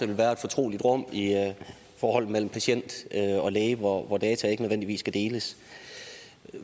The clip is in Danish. vil være et fortroligt rum i forholdet mellem patient og læge hvor data ikke nødvendigvis skal deles